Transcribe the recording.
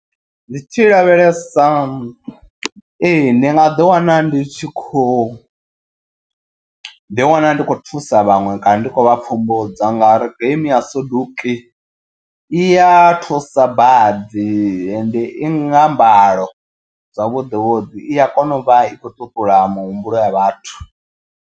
Ndi tshi lavhelesa ee ndi nga ḓi wana ndi tshi khou ḓi wana ndi kho thusa vhaṅwe kana ndi khou vha pfumbudza. Ngauri game ya soduki iya thusa badi ende i nga mbalo zwavhuḓi vhuḓi i a kona u vha i khou ṱuṱula muhumbulo ya vhathu.